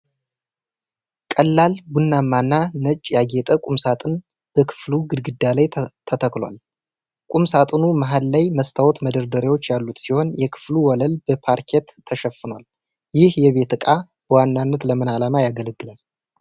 ቀላል ቡናማና ነጭ ያጌጠ ቁም ሳጥን በክፍሉ ግድግዳ ላይ ተተክሏል። ቁም ሳጥኑ መሀል ላይ መስታወት መደርደሪያዎች ያሉት ሲሆን የክፍሉ ወለል በፓርኬት ተሸፍኗል። ይህ የቤት ዕቃ በዋናነት ለምን ዓላማ ያገለግላል?